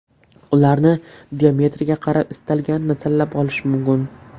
Ularni diametriga qarab istalganini tanlab olish mumkin.